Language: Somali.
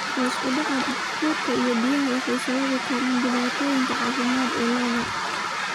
Hoos u dhaca quudka iyo biyuhu waxay sababi karaan dhibaatooyin caafimaad oo lo'da.